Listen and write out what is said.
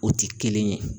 O ti kelen ye